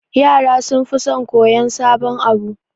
Yara sunfi son koyan sabon abu